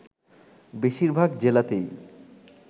বেশিরভাগ জেলাতেই